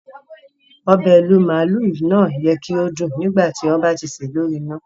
Obẹ̀ ìrú màálú náà yẹ ki o dún nígbàtí o ba ti ṣè lori ina.